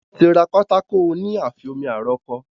Wọ́n ti ra pátákó oní àfi omi aró kọ.